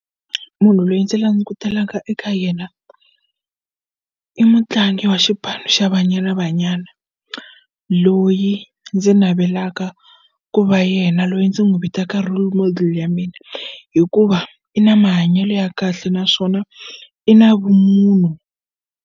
Munhu loyi ndzi langutelaka eka yena i mutlangi wa xipano xa Banyana Banyana loyi ndzi navelaka ku va yena loyi ndzi n'wu vitaka role model ya mina hikuva i na mahanyelo ya kahle naswona i na vumunhu.